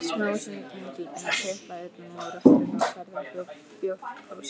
Smávaxin gengilbeina tiplaði utan úr rökkrinu og færði okkur bjórkrúsir.